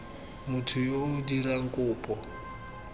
motho yo o dirang kopo